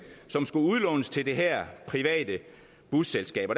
som skulle udlånes til det her private busselskab